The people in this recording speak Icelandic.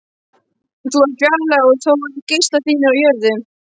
Þú ert fjarlæg og þó eru geislar þínir á jörðu.